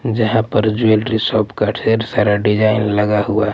जहाँ पर jewellery shop का ढेर सारा डिजाइन लगा हुआ--